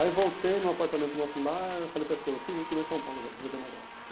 Aí eu voltei no apartamento nosso lá e falei para a esposa, fica aqui que eu vou lá em São Paulo resolver um negócio.